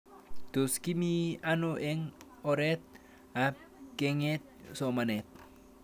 Tos kimii ano eng' oret ab keng'et somanet